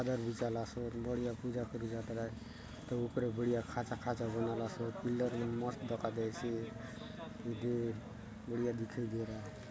बढ़िया पूजा करुक जा तोर आय तो ऊपर बढ़िया खाँचा - खाँचा बनालासोत पिल्लर बले मस्त दखा देयसे येदे बढ़िया दिखाई दे रहा है।